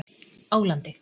Álandi